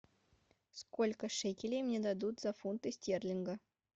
сколько шекелей мне дадут за фунты стерлинга